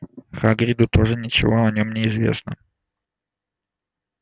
хагриду тоже ничего о нём не известно